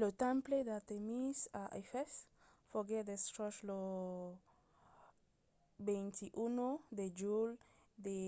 lo temple d'artèmis a efès foguèt destruch lo 21 de julh de